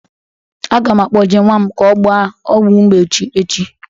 A ga m akpoje nwa m ka ọ gba ọgwụ mgbochi echi